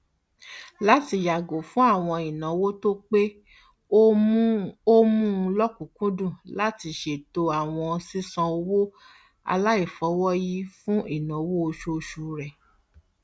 látì yàgò fún àwọn ìnáwó tó pé ó mú lọkùnkúndùn láti ṣètò àwọn sísanwó aláìfọwọyí fún ináwó oṣooṣu rẹ